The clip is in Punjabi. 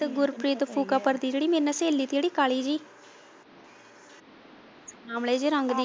ਤੇ ਗੁਰਪ੍ਰੀਤ ਫੁੱਕਾਪੁਰ ਦੀ ਜਿਹੜੀ ਮੇਰੇ ਨਾਲ ਸਹੇਲੀ ਸੀ ਕਾਲੀ ਜਿਹੀ ਸਾਵਲੇ ਜਿਹੇ ਰੰਗ ਦੀ।